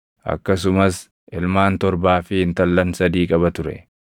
Akkasumas ilmaan torbaa fi intallan sadii qaba ture.